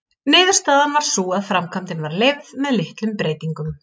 Niðurstaðan varð sú að framkvæmdin var leyfð með litlum breytingum.